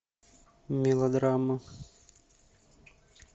мелодрама